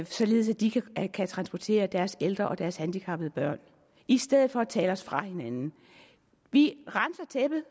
således at de kan kan transportere deres ældre og deres handicappede børn i stedet for at tale os fra hinanden vi renser tæppet